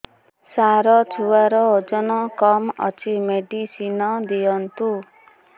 ସାର ଛୁଆର ଓଜନ କମ ଅଛି ମେଡିସିନ ଦିଅନ୍ତୁ